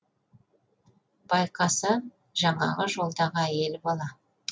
байқаса жаңағы жолдағы әйел бала